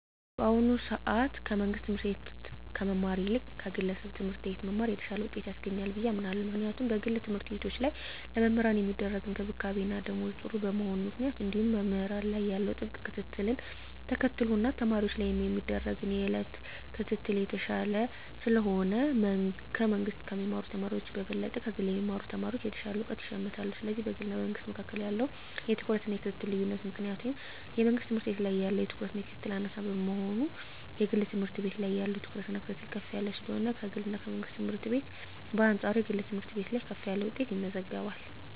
በአሁኑ ሰአት ከመንግስት ትምህርት ቤት ከመማር ይልቅ ከግለሰብ ትምህርት ቤት መማር የተሻለ ውጤት ያስገኛል ብየ አምናለው ምክንያቱም በግል ተምህርትቤቶች ላይ ለመምህራን ሚደረግ እንክብካቤና ደሞዝ ጥሩ በመሆኑ ምክንያት እንዲሁም መምህራን ላይ ያለው ጥብቅ ክትትልን ተከትሎ እና ተማሪወች ላይም የሚደረግ የየእለት ክትትል የተሻለ ስለሆነ ከመንግስ ከሚማሩ ተማሪወች በበለጠ ከግል የሚማሩ ተማሪወች የተሻለ እውቀት ይሸምታሉ ስለዚህ በግልና በመንግስ መካከል ባለው የትኩረትና የክትትል ልዮነት ምክንያት ወይም የመንግስት ትምህርት ቤት ላይ ያለው ትኩረትና ክትትል አናሳ በመሆኑና የግል ትምህርት ቤት ያለው ትኩረትና ክትትል ከፍ ያለ ስለሆነ ከግልና ከመንግስት ትምህርት ቤት በአንጻሩ የግል ትምህርት ቤት ላይ ከፍ ያለ ውጤት ይመዘገባል።